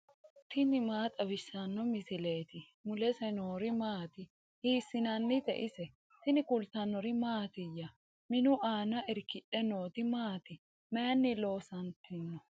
tini maa xawissanno misileeti ? mulese noori maati ? hiissinannite ise ? tini kultannori mattiya? Minu aanna irikkidhe nootti maati? Mayiinni loosanttanno?